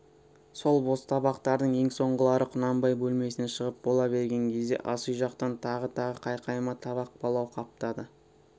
сол бос табақтардың ең соңғылары құнанбай бөлмесінен шығып бола берген кезде асүй жақтан тағы-тағы қайқайма табақ палау қаптады